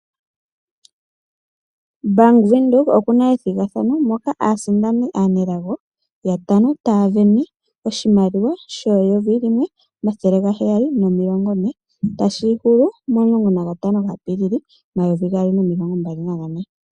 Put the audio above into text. Bank Windhoek okuna ethigathano moka aasindani aanelago yatano taya sindana oshimaliwa N$1750 tashi hulu 15 Apilili 2024.